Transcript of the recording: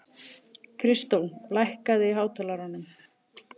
Kristó, lækkaðu í hátalaranum.